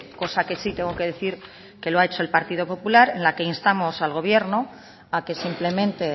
cosa que sí tengo que decir que lo ha hecho el partido popular en la que instamos al gobierno a que simplemente